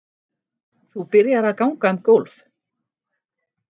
Þú byrjar að ganga um gólf.